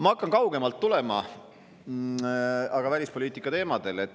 Ma hakkan kaugemalt tulema, aga räägin ikka välispoliitika teemadel.